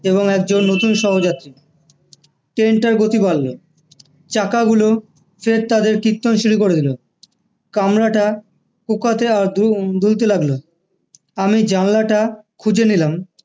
এবং একজন নতুন সহযাত্রী train টার গতি বাড়লো চাকা গুলো ফের তাদের কীর্তন শুরু করে দিলো কামরাটা দুলতে লাগলো আমি জানলাটা খুঁজে নিলাম